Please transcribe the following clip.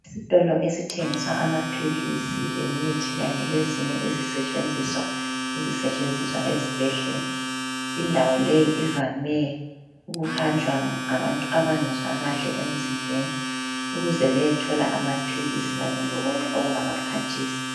Isitolo esithengisa amaphilisi lemithi kanye lezinye izisetshenziswa ezisetshenziswa ezibhedlela . Indawo leyi ivame ukuhanjwa ngabantu abangezwa kahle emzimbeni ukuze bayethola amaphilisi kanye lokunye okungabaphathisa.